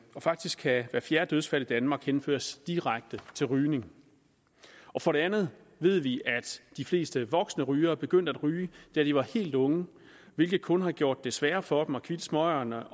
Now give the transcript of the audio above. og faktisk kan hver fjerde dødsfald i danmark henføres direkte til rygning for det andet ved vi at de fleste voksne rygere begyndte at ryge da de var helt unge hvilket kun har gjort det sværere for dem at kvitte smøgerne